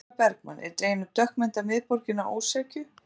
Sólveig Bergmann: Er dregin upp dökk mynd af miðborginni að ósekju?